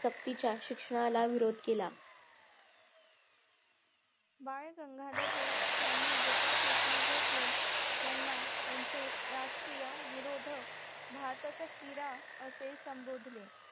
सक्तीच्या शिक्षणाला विरोध केला बाळ गंगाधर टिळक यांनी गोपाळ कृष्ण गोखले यांना यांचे राजकीय विरोधक भारताचा हिरा असे संभोधले